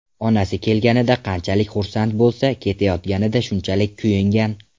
Onasi kelganida qanchalik xursand bo‘lsa, ketayotganida shunchalik kuyingan.